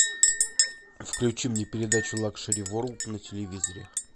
включи мне передачу лакшери ворлд на телевизоре